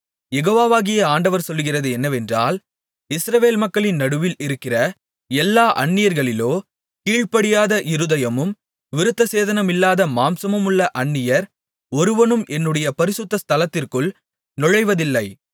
யெகோவாகிய ஆண்டவர் சொல்லுகிறது என்னவென்றால் இஸ்ரவேல் மக்களின் நடுவில் இருக்கிற எல்லா அந்நியர்களிலோ கீழ்படியாத இருதயமும் விருத்தசேதனமில்லாத மாம்சமுமுள்ள அந்நியர் ஒருவனும் என்னுடைய பரிசுத்த ஸ்தலத்திற்குள் நுழைவதில்லை